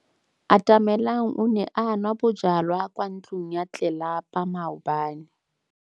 Atamelang o ne a nwa bojwala kwa ntlong ya tlelapa maobane.